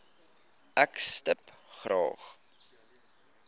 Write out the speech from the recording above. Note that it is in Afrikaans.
ek stip graag